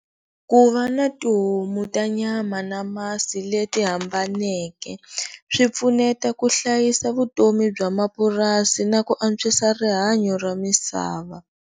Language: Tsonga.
Ku va na tihomu ta nyama na masi leti hambaneke swi pfuneta ku hlayisa vutomi bya mapurasini na ku antswisa rihanyo ra misava.